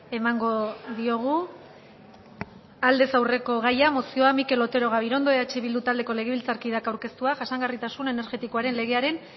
emango diogu aldez aurreko gaia mozioa mikel otero gabirondo eh bildu taldeko legebiltzarkideak aurkeztua jasangarritasun energetikoaren legearen